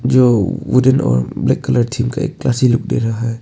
जो वुडन और black colour theme का एक क्लासी लुक दे रहा है।